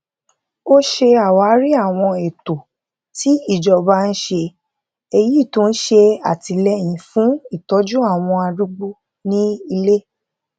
ó ṣe àwárí àwọn ètò tí ìjọba ń ṣe èyí tó ń ṣè àtìléyìn fún ìtójú àwọn arúgbó ní ilé